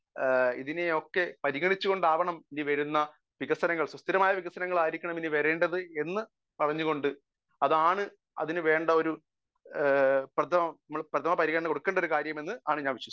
speaker 1 ഇതിനെയൊക്കെ പരിഗണിച്ചുകൊണ്ടാവണം ഇനി വരുന്ന വികസനങ്ങൾ സുസ്ഥിരമായ വികസനങ്ങൾ ആണ് വരേണ്ടത് എന്ന് പറഞ്ഞുകൊണ്ട് അതാണ് അതിനു വേണ്ട ഒരു പ്രഥമ പരിഗണ കൊടുക്കേണ്ട ഒരു കാര്യമെന്ന് ഞാൻ വിശ്വസിക്കുന്നു